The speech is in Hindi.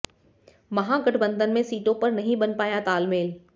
महागठबंधन में सीटों पर नहीं बन पाया तालमेल